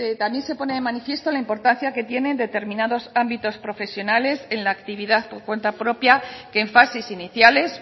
también se pone de manifiesto la importancia que tiene en determinados ámbitos profesionales en la actividad por cuenta propia que en fases iniciales